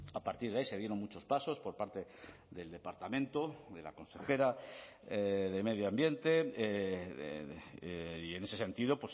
a partir de ahí se dieron muchos pasos por parte del departamento de la consejera de medio ambiente y en ese sentido